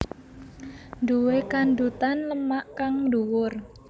Duwe kandhutan lemak kang dhuwur